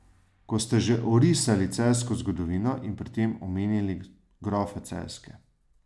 Ko ste že orisali celjsko zgodovino in pri tem omenili grofe Celjske ...